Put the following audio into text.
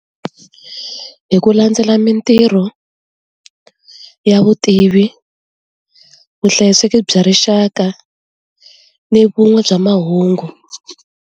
Hi ku landzela mintirho ya vutivi vuhlayiseki bya rixaka ni vun'we bya mahungu.